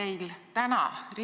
Aitäh, lugupeetud istungi juhataja!